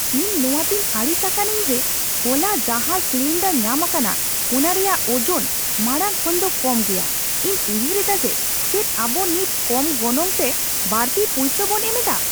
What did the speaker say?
ᱤᱧ ᱱᱚᱣᱟ ᱛᱮᱧ ᱟᱹᱲᱤᱥ ᱟᱠᱟᱱᱟᱧ ᱡᱮ ᱦᱚᱞᱟ ᱡᱟᱦᱟᱸ ᱥᱤᱞᱤᱱᱰᱟᱨ ᱧᱟᱢ ᱟᱠᱟᱱᱟ ᱚᱱᱟ ᱨᱮᱭᱟᱜ ᱚᱡᱚᱱ ᱢᱟᱲᱟᱝ ᱠᱷᱚᱱ ᱫᱚ ᱠᱚᱢ ᱜᱮᱭᱟ ᱾ ᱤᱧ ᱩᱭᱦᱟᱹᱨ ᱮᱫᱟ ᱡᱮ ᱪᱮᱫ ᱟᱵᱚ ᱱᱤᱛ ᱠᱚᱢ ᱜᱚᱱᱚᱝ ᱛᱮ ᱵᱟᱹᱲᱛᱤ ᱯᱩᱭᱥᱟᱹ ᱵᱚᱱ ᱮᱢ ᱮᱫᱟ ᱾